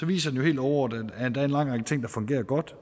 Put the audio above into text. viser den jo helt overordnet at der er en lang række ting der fungerer godt